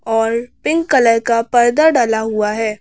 और pink colour का पर्दा डला हुआ है।